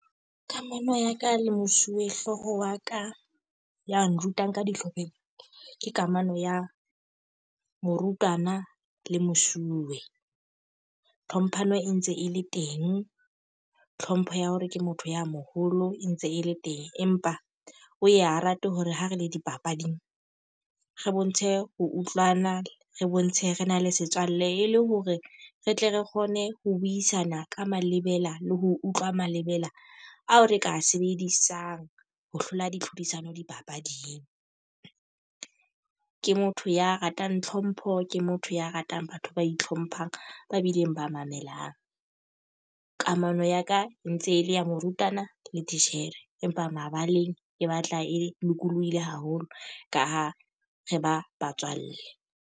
Kamano ya ka le mosuwehlooho wa ka ya nrutang ka dihlopheng. Ke kamano ya morutana le mosuwe. Tlhomphano e ntse e le teng, tlhompho ya hore ke motho ya moholo e ntse e le teng. Empa o ya rate hore ha re le dipapading, re bontshe ho utlwana, re bontshe re na le setswalle, e le hore re tle re kgone ho buisana ka malebela le ho utlwa malebela ao re ka e sebedisang ho hlola ditlhodisano dipapading. Ke motho ya ratang tlhompho, ke motho ya ratang batho ba itlhomphang, ba bileng ba mono melang. Kamano ya ka e ntse e le ya morutana le titjhere. Empa mabaleng e batla e lokolohile haholo ka ha re ba batswalle.